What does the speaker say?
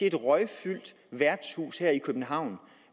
et røgfyldt værtshus her i københavn